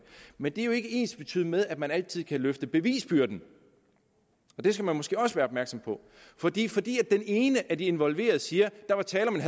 men det er jo ikke ensbetydende med at man altid kan løfte bevisbyrden og det skal man måske også være opmærksom på fordi fordi den ene af de involverede siger at der var tale om en